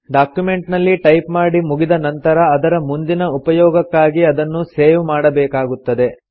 document ನಲ್ಲಿ type ಮಾಡಿ ಮುಗಿದ ನಂತರ ಅದರ ಮುಂದಿನ ಉಪಯೋಗಕ್ಕಾಗಿ ಅದನ್ನು ಸೇವ್ ಮಾಡಬೇಕಾಗುತ್ತದೆ